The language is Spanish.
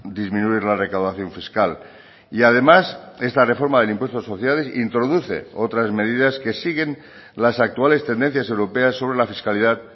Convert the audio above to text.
disminuir la recaudación fiscal y además esta reforma del impuesto de sociedades introduce otras medidas que siguen las actuales tendencias europeas sobre la fiscalidad